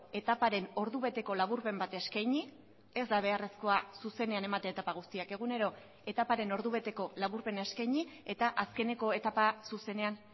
etaparen ordubeteko laburpen bat eskaini ez da beharrezkoa zuzenean ematea etapa guztiak egunero etaparen ordubeteko laburpena eskaini eta azkeneko etapa zuzenean